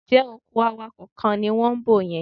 Ǹjẹ́ òkú awakọ̀ kan ni wọ́n ń bò yẹn?